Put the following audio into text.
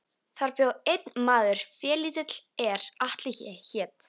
Þar bjó einn maður félítill er Atli hét.